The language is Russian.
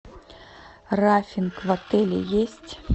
рафинг в отеле есть